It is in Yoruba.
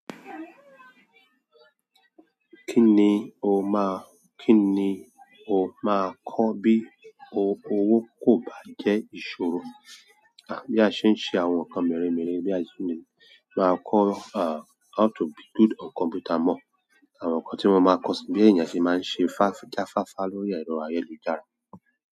Kí ni o má, kí ni o máa kọ́ bí o owó kò bá jẹ́ ìṣòro? Bí a ṣe ń ṣe àwọn nǹkan mẹ́re mẹ́re, bí a ṣe le máa kọ́ uh how to be good on computer more àwọn nǹkan tí wọ́n máa ń kọ́ síi, bí èèyàn se máa ń ṣe fá jáfáfá lórí ẹ̀rọ ayélujára.